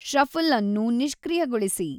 shuffle ಅನ್ನು ನಿಷ್ಕ್ರಿಯಗೊಳಿಸಿ